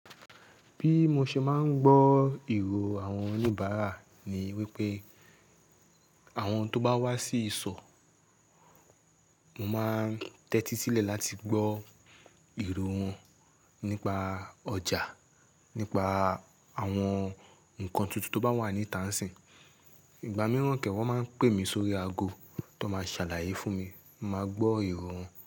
Bí mo ṣe máa ń gbọ́ ìró àwọn oníbàárà ni wípé àwọn tó bá wá sí ìsọ̀, mo máa ń tẹ́tí sílẹ̀ láti gbọ́ ìró wọn nípa ọjà, nípa àwọn nǹkan tuntun tó bá wà ní Tànsí. Ìgbà mìíràn kẹ́wọ̀ máa ń pè mí sórí aago tó máa ṣàlàyé fún mi, mo máa gbọ́ ìró wọn.